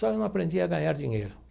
Só não aprendi a ganhar dinheiro.